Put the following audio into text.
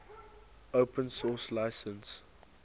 open source license